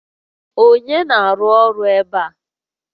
Onye na-arụ ọrụ ebe a?